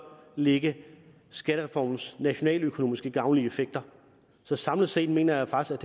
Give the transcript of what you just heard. lægge skattereformens nationaløkonomiske gavnlige effekter så samlet set mener jeg faktisk